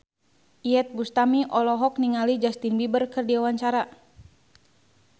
Iyeth Bustami olohok ningali Justin Beiber keur diwawancara